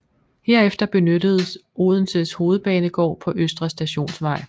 Herefter benyttedes Odenses hovedbanegård på Østre Stationsvej